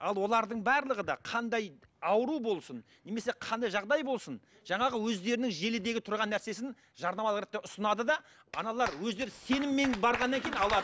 ал олардың барлығы да қандай ауру болсын немесе қандай жағдай болсын жаңағы өздерінің желідегі тұрған нәрсесін жарнама ұсынады да аналар өздері сеніммен барғаннан кейін алады